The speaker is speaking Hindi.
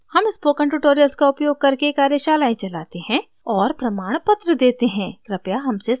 हम spoken tutorials का उपयोग करके कार्यशालाएं चलाते हैं और प्रमाणपत्र देते हैं कृपया हमसे संपर्क करें